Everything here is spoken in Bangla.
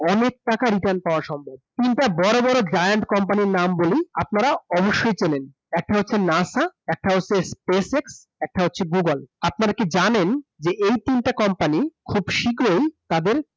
অনেক টাকা return পাওয়া সম্ভব ।۔ তিনটা বড় বড় জায়ান্ট company র নাম বলি আপনারা অবশ্যই চেনেন একটা হচ্ছে NASA একটা হচ্ছে Space X একটা হচ্ছে Google আপনারা কি জানেন যে এই তিনটে company খুব সিগ্রহি তাদের